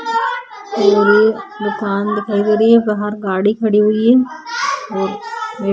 और ये दूकान दिखाई दे रही है बाहर गाड़ी खड़ी हुई है और एक --